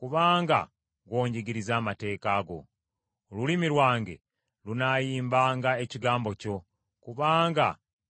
Olulimi lwange lunaayimbanga ekigambo kyo, kubanga bye walagira byonna bya butuukirivu.